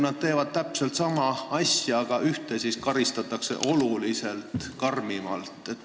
Nad teevad täpselt sama asja, aga ühte karistatakse oluliselt karmimalt.